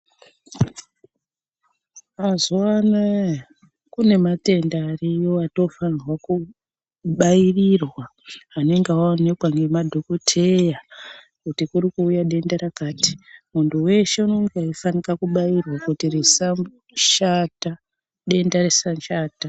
Mazuva anawa kune matenda ariyo atofanirwa kubairirwa anenge aonekwa nemadhokodheya kuti kuri kuuya denda rakati muntu weshe anenge eifanika kubairwa kuti risashata denda rishata.